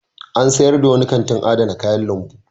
An sayar da wani kantin adana kayan lambu.